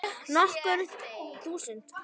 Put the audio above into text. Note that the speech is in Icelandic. Nokkur þúsund?